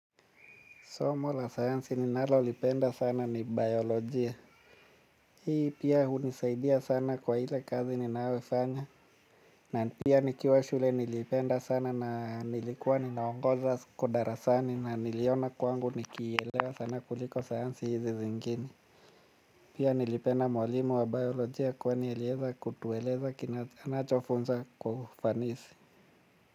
Somo la sayansi ninalolipenda sana ni biolojia. Hii pia hunisaidia sana kwa ile kazi ninayoifanya. Na pia nikiwa shule nilipenda sana na nilikuwa ninaongeza kudarasani na niliona kwangu nikiilewa sana kuliko sayansi hizi zingine. Pia nilipenda mwalimu wa biolojia kwani alieza kutueleza kinachofunzwa kwa ufanisi.